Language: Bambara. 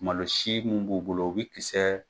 Malo si mun b'u bolo u bi kisɛ.